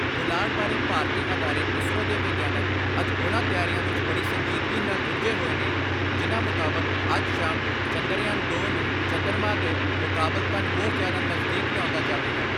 ਪੁਲਾੜ ਬਾਰੇ ਭਾਰਤੀ ਅਦਾਰੇ ਇਸਰੋ ਦੇ ਵਿਗਿਆਨਕ ਅੱਜ ਉਨ੍ਹਾਂ ਤਿਆਰੀਆਂ ਵਿੱਚ ਬੜੀ ਸੰਜੀਦਗੀ ਨਾਲ਼ ਰੁੱਝੇ ਹੋਏ ਨੇ ਜਿਨ੍ਹਾਂ ਮੁਤਾਬਕ ਅੱਜ ਸ਼ਾਮ ਚੰਦਰਯਾਨ ਦੋ ਨੂੰ ਚੰਦਰਮਾ ਦੇ ਮੁਕਾਬਲਤਨ ਹੋਰ ਜਿਆਦਾ ਨਜਦੀਕ ਲਿਆਉਂਦਾ ਜਾਵੇਗਾ।